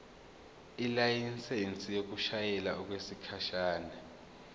ilayisensi yokushayela okwesikhashana